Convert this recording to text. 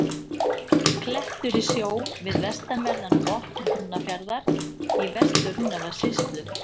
Klettur í sjó við vestanverðan botn Húnafjarðar í Vestur-Húnavatnssýslu.